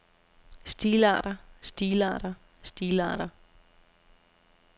stilarter stilarter stilarter